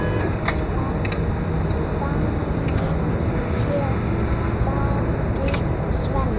Þannig séð, sagði Sveinn.